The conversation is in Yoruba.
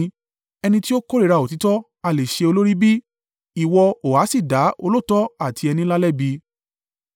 Ẹni tí ó kórìíra òtítọ́ ha le ṣe olórí bí? Ìwọ ó ha sì dá olóòótọ́ àti ẹni ńlá lẹ́bi?